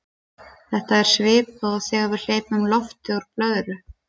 þetta er svipað og þegar við hleypum lofti úr blöðru